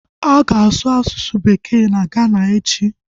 A ga-asụ asụsụ bekee na Gana echi